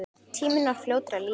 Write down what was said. Tíminn var fljótur að líða.